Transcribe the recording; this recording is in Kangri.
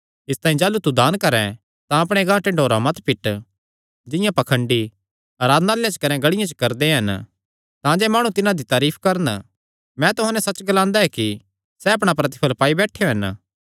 इसतांई जाह़लू तू दान करैं तां अपणे गांह ढिंन्डोरा मत पिट जिंआं पाखंडी आराधनालयां कने गलियां च करदे हन तांजे माणु तिन्हां दी तारीफ करन मैं तुहां नैं सच्च ग्लांदा ऐ कि सैह़ अपणा प्रतिफल़ पाई बैठेयो हन